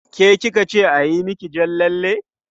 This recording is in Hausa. Ke ki ka ce a yi miki jan lalle?